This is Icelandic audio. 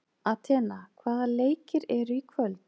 Atena, hvaða leikir eru í kvöld?